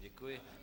Děkuji.